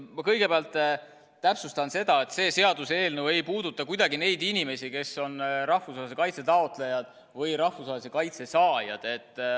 Ma kõigepealt täpsustan seda, et see seaduseelnõu ei puuduta kuidagi neid inimesi, kes on rahvusvahelise kaitse taotlejad või rahvusvahelise kaitse saajad.